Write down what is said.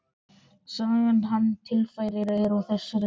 Sagan sem hann tilfærir er á þessa leið